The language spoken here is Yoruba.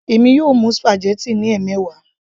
èmi yóò mú spaghetti ní ẹmẹwa